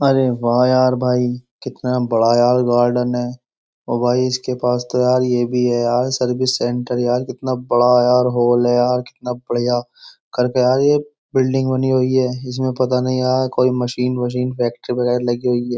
अरे वाह यार भाई कितना बड़ा यार गार्डन है ओ भाई इसके पास तो यार ये भी है यार सर्विस सेंटर यार कितना बड़ा यार हॉल है यार कितना बढ़िया करके यार ये बिल्डिंग बनी हुई है इसमें पता नहीं यार कोई मशीन मशीन फैक्ट्री वगैरह लगी हुई है।